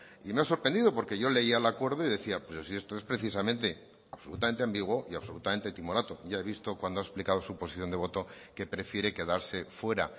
y me ha sorprendido porque yo leía el acuerdo y decía pero si esto es precisamente absolutamente ambiguo y absolutamente timorato ya he visto cuando ha explicado su posición de voto que prefiere quedarse fuera